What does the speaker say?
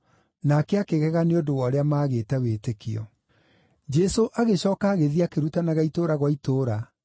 Nake akĩgega nĩ ũndũ wa ũrĩa maagĩte wĩtĩkio. Jesũ Gũtũma Arutwo arĩa Ikũmi na Eerĩ Jesũ agĩcooka agĩthiĩ akĩrutanaga itũũra gwa itũũra.